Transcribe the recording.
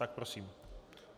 Tak prosím.